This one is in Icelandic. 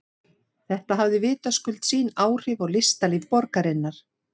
Þetta hafði vitaskuld sín áhrif á listalíf borgarinnar.